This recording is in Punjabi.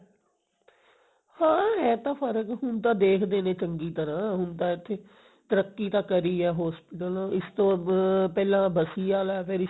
ਹਾਂ ਐਂ ਤਾਂ ਫਰਕ ਹੁਣ ਤਾਂ ਦੇਖਦੇ ਤਾਂ ਦੇਖਦੇ ਨੇ ਚੰਗੀ ਤਰ੍ਹਾਂ ਹੁਣ ਤਾਂ ਇੱਥੇ ਤਰੱਕੀ ਤਾਂ ਕਰੀ ਹੈ hospital ਇਸ ਤੋਂ ਪਹਿਲਾਂ ਬਸੀ ਆਲਾ